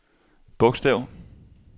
bogstav